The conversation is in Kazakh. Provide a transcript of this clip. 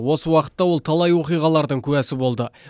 осы уақытта ол талай оқиғалардың куәсі болды